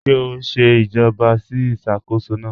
Ṣé ó n ṣè ìjàbọ̀ sí ìṣákóṣọ́ náà?